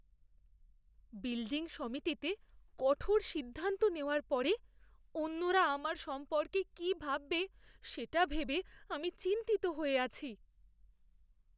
Building সমিতিতে কঠোর সিদ্ধান্ত নেওয়ার পরে অন্যরা আমার সম্পর্কে কি ভাববে সেটা ভেবে আমি চিন্তিত হয়ে আছি।